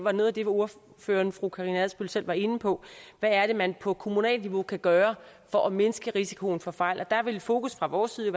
er noget af det ordføreren fru karina adsbøl selv var inde på hvad er det man på kommunalt niveau kan gøre for at mindske risikoen for fejl og der vil fokus fra vores side